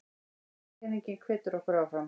Viðurkenningin hvetur okkur áfram